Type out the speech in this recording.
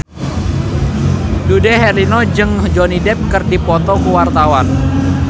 Dude Herlino jeung Johnny Depp keur dipoto ku wartawan